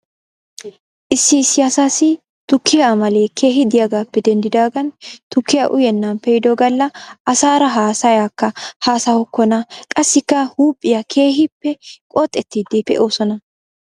Issi issi asaasi tukkiyaa amalee keehi de'iyaagappe denddidaagan tukkiyaa uyenna pee'ido gala asaara haasayaaka haasahokkona qassikka huuphphiyaa keehippe qoxettiiddi pee'oosona.